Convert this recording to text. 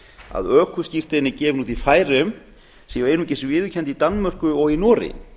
að ökuskírteini gefin út í færeyjum séu einungis viðurkennd í danmörku og í noregi